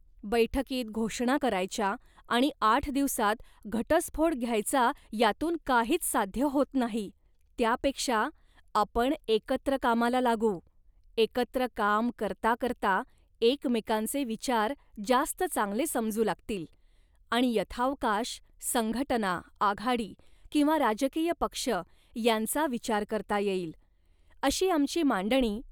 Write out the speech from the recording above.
बैठकीत घोषणा करायच्या आणि आठ दिवसांत घटस्फोट घ्यायचा यातून काहीच साध्य होत नाही. त्यापेक्षा, आपण एकत्र कामाला लागू, एकत्र काम करता करता एकमेकांचे विचार जास्त चांगले समजू लागतील आणि यथावकाश संघटना, आघाडी किंवा राजकीय पक्ष यांचा विचार करता येईल,' अशी आमची मांडणी